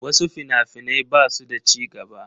Wasu fina-finai ba su da ci gaba.